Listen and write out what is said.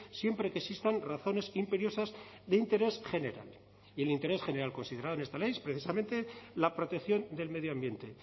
siempre que existan razones imperiosas de interés general y el interés general considerado en esta ley es precisamente la protección del medio ambiente